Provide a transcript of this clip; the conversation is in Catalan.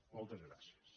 moltes gràcies